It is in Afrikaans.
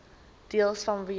deels vanweë